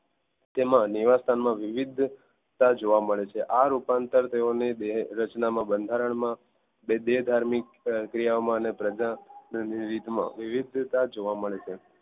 તેમાં નીવાસ્થાન માં વિવિધતા જોવા મળે છે આ રુપાંતર થયોને રચનાના બંધારણ માં અને દેહધાર્મિક ક્રિયા ઓમાં અને ની રીત માં વિવિધતા જોવા મળે છે.